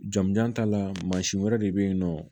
Jamujan ta la mansin wɛrɛ de bɛ yen nɔ